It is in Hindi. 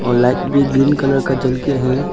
लाइट भी ग्रीन कलर का जल के है।